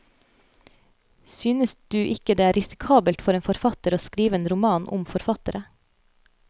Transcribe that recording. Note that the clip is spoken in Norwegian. Synes du ikke det er risikabelt for en forfatter å skrive en roman om forfattere?